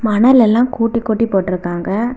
மணல் எல்லாம் கூட்டி கூட்டி போட்டுருக்காங்க.